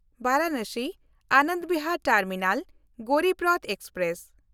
ᱵᱟᱨᱟᱱᱟᱥᱤ-ᱟᱱᱚᱱᱫ Bihar terminal Garib Rath express